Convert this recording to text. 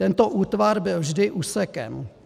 Tento útvar byl vždy úsekem.